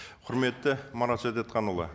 құрметті марат шәдетханұлы